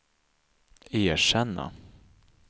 erkänna